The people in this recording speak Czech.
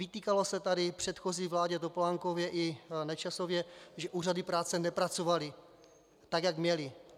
Vytýkalo se tady předchozí vládě Topolánkově i Nečasově, že úřady práce nepracovaly tak, jak měly.